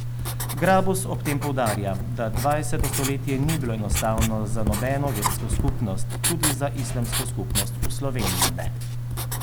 Grabus ob tem poudarja, da dvajseto stoletje ni bilo enostavno za nobeno versko skupnost, tudi za islamsko skupnost v Sloveniji ne.